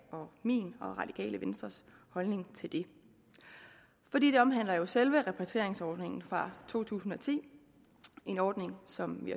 og om min og radikale venstres holdning til det for det omhandler jo selve repatrieringsordningen fra to tusind og ti en ordning som vi